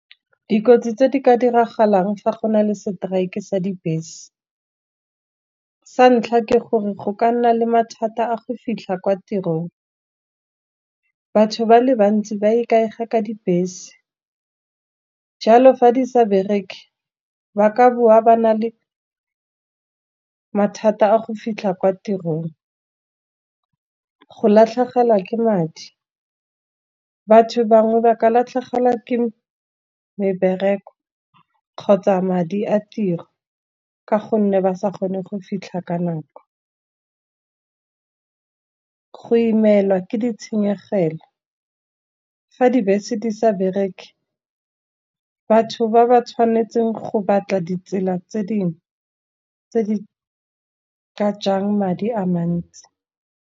Dikotsi tse di ka diragalang fa go na le strike e sa dibese. Sa ntlha ke gore go ka nna le mathata a go fitlha kwa tirong, batho ba le bantsi ba ikaega ka dibese. Jalo fa di sa bereke ba ka boa ba na le mathata a go fitlha kwa tirong, go latlhegelwa ke madi batho bangwe ba ka latlhegelwa ke mebereko, kgotsa madi a tiro ka gonne ba sa kgone go fitlha ka nako. Go imelwa ke ditshenyegelo fa dibese di sa bereke batho ba ba tshwanetseng go batla ditsela tse dingwe, tse di ka jang madi a mantsi.